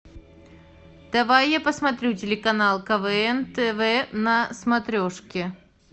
давай я посмотрю телеканал квн тв на смотрешке